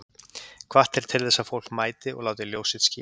Hvatt er til þess að fólk mæti og láti ljós sitt skína